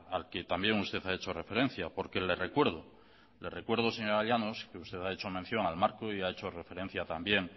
al que también usted ha hecho referencia porque le recuerdo le recuerdo señora llanos que usted ha hecho mención al marco y ha hecho referencia también